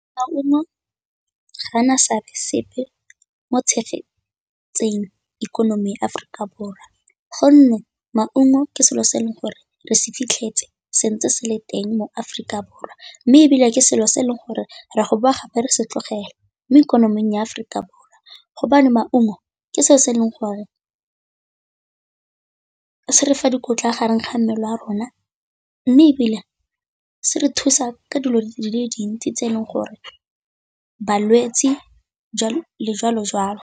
Maungo ga ana seabe sepe mo tshegetseng ikonomi ya Aforika Borwa, gonne maungo ke selo se e leng gore re se fitlhetse se ntse se le teng mo Aforika Borwa mme ebile ke selo se e leng gore ra go boa gape re se tlogele mo ikonoming ya Aforika Borwa hobane maungo ke selo se e leng gore, se re fa dikotla a gareng ga mmele a rona, mme ebile se re thusa ka dilo di le dintsi tse e leng gore balwetse jwalo jwalo.